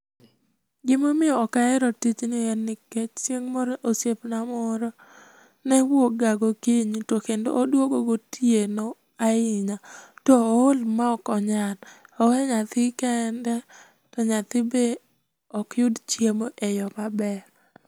Gima omiyo ok ahero tijni en nikech chieng' moro osiepna moro ne wuok ga gokinyi to kendo oduogo gotieno ahinya tohol ma okonyal, owe nyathi kende to nyathi bende ok yud chiemo e yo maber.